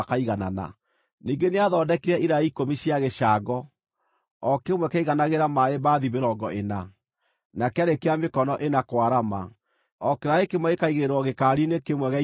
Ningĩ nĩathondekire iraĩ ikũmi cia gĩcango, o kĩmwe kĩaiganagĩra maaĩ mbathi mĩrongo ĩna, na kĩarĩ kĩa mĩkono ĩna kwarama, o kĩraĩ kĩmwe gĩkaigĩrĩrwo gĩkaari-inĩ kĩmwe gĩa icio ikũmi.